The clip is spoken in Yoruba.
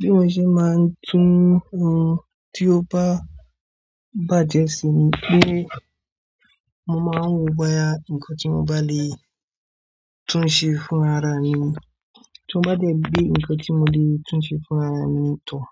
Bí mo ṣe máa ń tún ohun tí ó bá bàjẹ́ ṣe ni pé mo máa ń wo boya nǹkan tí mo bá lè tún ṣe fún ara mi ni. Tí won bá dé bere ǹkan tí mo lè tún ṣe fún ara mi ni tàn,